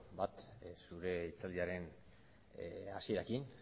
bat zure hitzaldiaren hasierarekin